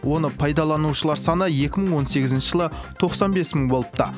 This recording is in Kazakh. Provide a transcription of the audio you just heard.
оны пайдаланушылар саны екі мың он сегізінші жылы тоқсан бес мың болыпты